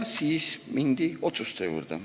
Siis mindi otsuste juurde.